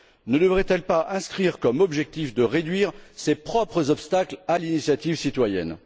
Ne devrait elle pas inscrire comme objectif de réduire ses propres obstacles à l'initiative citoyenne?